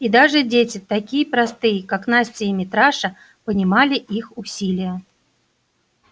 и даже дети такие простые как настя и митраша понимали их усилие